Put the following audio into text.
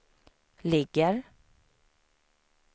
ligger